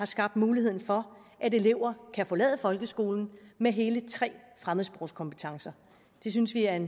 skabt mulighed for at elever kan forlade folkeskolen med hele tre fremmedsprogskompetencer det synes vi er en